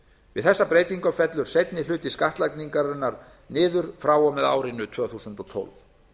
við þessa breytingu fellur seinni hluti skattlagningarinnar niður frá og með árinu tvö þúsund og tólf